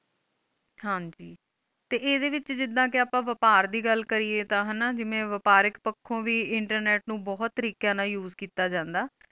ਹਨ ਜੀ ਤੇ ਐਦ੍ਹੇ ਵਿਚ ਜਿਦ੍ਹਾ ਕੇ ਆਪ ਬਪਾਰ ਦੀ ਗੱਲ ਕਰੀਏ ਤਾ ਹੈ ਨਾ ਜਿਵੇ ਬੱਰ ਇਕ ਪਾਖੁ ਵੀ internet ਨੂੰ ਬੋਹਤ ਤਰੀਕਿਆਂ ਨ use ਕੀਤਾ ਜਾਂਦਾ